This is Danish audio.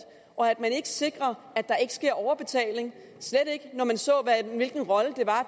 og at man ikke sikrer at der ikke sker overbetaling slet ikke når man så hvilken rolle